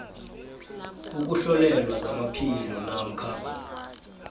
ukuhlolelwa zamaphilo namkha